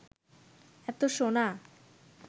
এত সোনা